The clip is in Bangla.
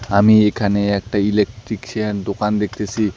আমি এইখানে একটা ইলেকট্রিকশিয়ান দোকান দেখতেসি।